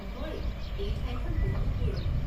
হয়, এই ঠাইখন বহু পুৰণি।